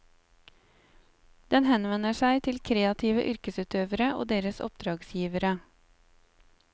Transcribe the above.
Den henvender seg til kreative yrkesutøvere og deres oppdragsgivere.